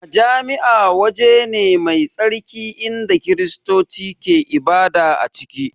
Majami'a waje ne mai tsarki inda Kiristoci ke ibada a ciki